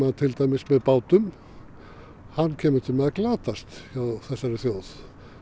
til dæmis með bátum komi til með að glatast hjá þessari þjóð